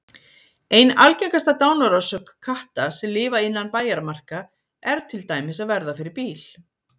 Ein algengasta dánarorsök katta sem lifa innan bæjarmarka er til dæmis að verða fyrir bíl.